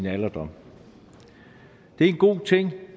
alderdommen det er en god ting